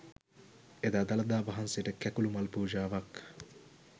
එදා දළදා වහන්සේට කැකුළු මල් පූජාවක්